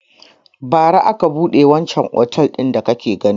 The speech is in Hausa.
Bara aka buɗe wancan otel din da kake gani.